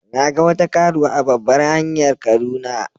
Na ga wata karuwa a babbar hanyar kaduna.